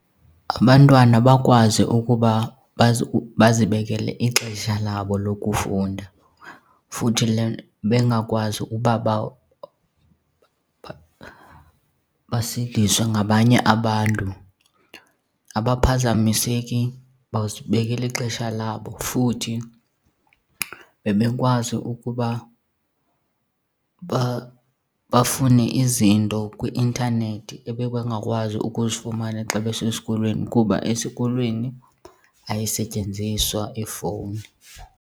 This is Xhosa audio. Abantwana bakwazi ukuba bazibekele ixesha labo lokufunda futhi bengakwazi ukuba basindiswe ngabanye abantu, abaphazamiseki bazibekela ixesha labo. Futhi bebekwazi ukuba bafune izinto kwi-intanethi ebebengakwazi ukuzifumana xa besesikolweni kuba esikolweni ayisetyenziswa ifowuni.